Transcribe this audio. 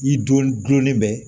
I donnen bɛ